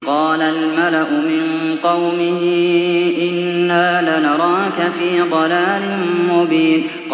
قَالَ الْمَلَأُ مِن قَوْمِهِ إِنَّا لَنَرَاكَ فِي ضَلَالٍ مُّبِينٍ